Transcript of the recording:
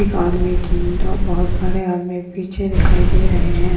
एक आदमी और बहुत सारे आदमी पीछे दिखाई दे रहे है।